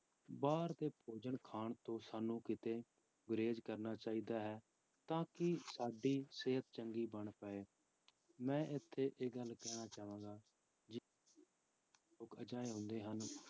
ਬਾਹਰ ਦੇ ਭੋਜਨ ਖਾਣ ਤੋਂ ਸਾਨੂੰ ਕਿਤੇ ਗੁਰੇਜ਼ ਕਰਨਾ ਚਾਹੀਦਾ ਹੈ, ਤਾਂ ਕਿ ਸਾਡੀ ਸਿਹਤ ਚੰਗੀ ਬਣ ਪਾਏ, ਮੈਂ ਇੱਥੇ ਇਹ ਗੱਲ ਕਹਿਣਾ ਚਾਹਾਂਗਾ ਜੇ ਲੋਕ ਅਜਿਹੇੇ ਹੁੰਦੇ ਹਨ,